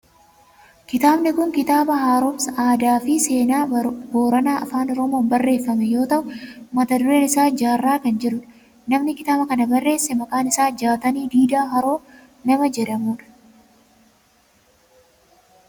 Kitaabni kun kitaaba haaromsa aadaa fi seenaa booranaa afaan oromoon barreeffame yoo ta'u mata dureen isaa jaarraa kan jedhudha. Namni kitaaba kana barreesse maqaan isaa Jaatanii Diidaa Haroo nama jedhamudha.